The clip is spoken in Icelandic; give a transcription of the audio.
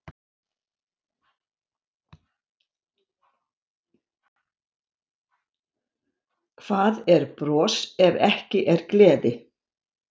Hvað er bros ef ekki er gleði?